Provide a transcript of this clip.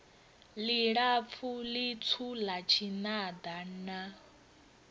ḽilapfu ḽitswu ḽa tshinada na